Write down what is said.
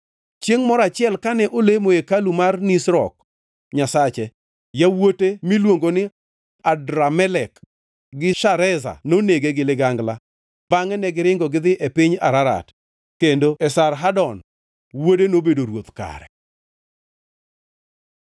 Chiengʼ moro achiel kane olemo e hekalu mar Nisrok nyasache, yawuote miluongo ni Adramelek gi Shareza nonege gi ligangla, bangʼe negiringo gidhi e piny Ararat. Kendo Esarhadon wuode nobedo ruoth kare.